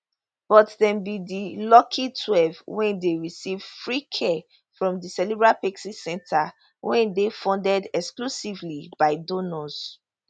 but dem be di lucky twelve wey dey receive free care from di cerebral palsy centre wey dey funded exclusively by donors